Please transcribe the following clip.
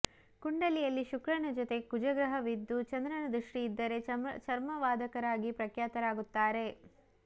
ಕುಂಡಲಿಯಲ್ಲಿ ಶುಕ್ರನ ಜೊತೆ ಕುಜಗ್ರಹವಿದ್ದು ಚಂದ್ರನ ದೃಷ್ಟಿ ಇದ್ದರೆ ಚರ್ಮವಾದಕರಾಗಿ ಪ್ರಖ್ಯಾತರಾಗುತ್ತಾರೆ